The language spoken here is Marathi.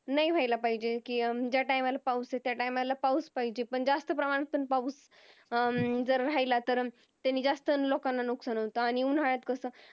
नाही व्हायला पाहिजेत कि ज्या Time ला पाऊस येतो त्या Time ला पाऊस यायला पाहिजेत पण जास्त प्रमाणात पण पाऊस हम्म जर राहिला तर त्यांनी जास्त लोकांना नुकसान होत आणि उन्हाळ्यात कस